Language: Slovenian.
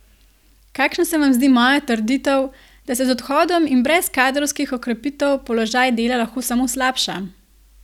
Kakšna se vam zdi moja trditev, da se z odhodi in brez kadrovskih okrepitev položaj Dela lahko samo slabša?